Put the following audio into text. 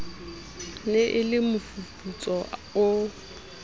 ne e le mofufutso o